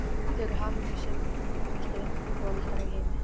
Þau eru hamingjusömustu foreldrar í heimi!